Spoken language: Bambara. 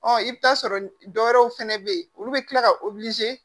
Ɔ i bɛ t'a sɔrɔ dɔw wɛrɛw fana bɛ yen olu bɛ tila ka